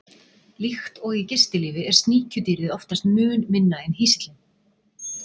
Líkt og í gistilífi er sníkjudýrið oftast mun minna en hýsillinn.